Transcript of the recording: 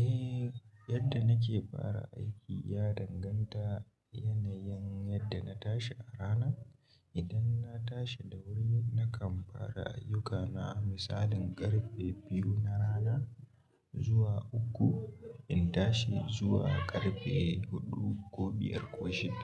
Eh, yadda nake fara aiki ya danganta yanayin yadda na tashi a rana. Idan na tashi da wuri, nakan fara ayyukana misalin ƙarfe biyu na rana zuwa uku. In tashi zuwa ƙarfe huɗu ko biyar ko shida.